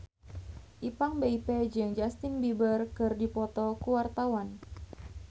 Ipank BIP jeung Justin Beiber keur dipoto ku wartawan